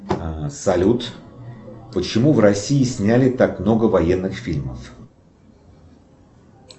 салют почему в россии сняли так много военных фильмов